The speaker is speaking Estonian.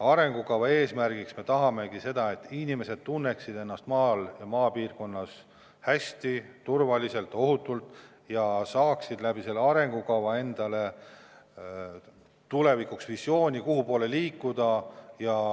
Arengukava eesmärgina me tahamegi seda, et inimesed tunneksid ennast maal, maapiirkonnas hästi, turvaliselt, ohutult ja saaksid ka arengukava toel tulevikuvisiooni, kuhu poole liikuda.